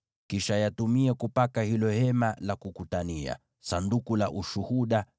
Kisha yatumie kupaka hilo Hema la Kukutania, Sanduku la Ushuhuda,